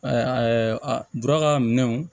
dura ka minɛnw